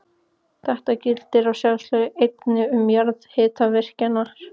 Þetta gildir að sjálfsögðu einnig um jarðhitavirkjanir.